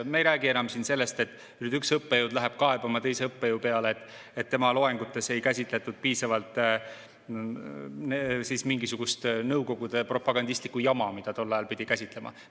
Me ei räägi siin ju enam sellest, et üks õppejõud läheb kaebama teise õppejõu peale, et tema loengutes ei käsitletud piisavalt mingisugust nõukogude propagandistlikku jama, mida tol ajal pidi käsitlema.